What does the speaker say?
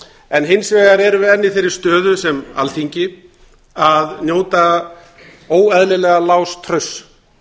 en hins vegar erum við enn í þeirri stöðu sem alþingi að njóta óeðlilega lágs trausts